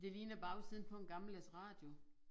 Det ligner bagsiden på en gammeldags radio